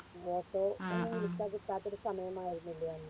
Auto ഒന്നും വിളിച്ച കിട്ടാത്തൊരു സമയമായിരുന്നില്ലേ അന്ന്